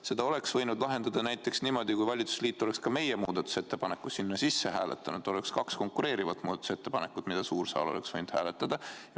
Selle oleks võinud lahendada näiteks niimoodi, et valitsusliit oleks ka meie muudatusettepaneku sinna sisse jätnud ja oleks olnud kaks konkureerivat muudatusettepanekut, mida suur saal oleks võinud hääletada.